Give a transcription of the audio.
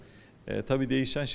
Eee təbii ki, dəyişən şeylər də var.